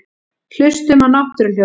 Hlustum á náttúruhljóðin.